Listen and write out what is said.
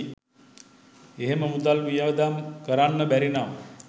එහෙම මුදල් වියදම් කරන්න බැරි නම්